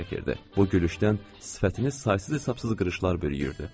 Bu gülüşdən sifətini saysız-hesabsız qırışlar bürüyürdü.